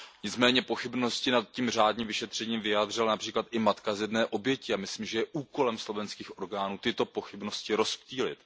Nicméně pochybnosti nad tím řádným vyšetřením vyjádřila například i matka jedné z obětí. Myslím, že je úkolem slovenských orgánů tyto pochybnosti rozptýlit.